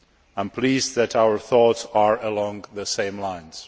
I am pleased that our thoughts are along the same lines.